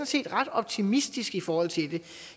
set ret optimistisk i forhold til det